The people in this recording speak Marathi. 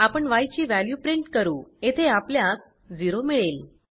आपण य ची वॅल्यू प्रिंट करू येथे आपल्यास 0 मिळेल